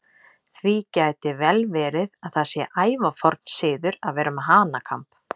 Því gæti vel verið að það sé ævaforn siður að vera með hanakamb.